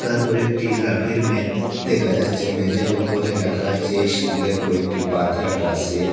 তারপরে একটি লাকড়ির মেদ দেকা যাচ্চে মেজের উপরে রাখা আচে ইস্টিলের কয়েকটি পাত রাখা আসে।